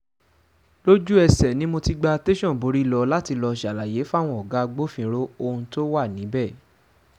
lójú-ẹsẹ̀ ni mo ti gba tẹ̀sán borí lọ láti lọ́ọ́ ṣàlàyé fáwọn ọ̀gá agbófinró ohun tó wà níbẹ̀